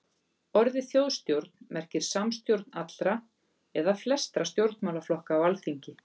Orðið þjóðstjórn merkir samstjórn allra eða flestra stjórnmálaflokka á alþingi.